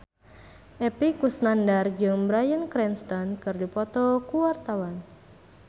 Epy Kusnandar jeung Bryan Cranston keur dipoto ku wartawan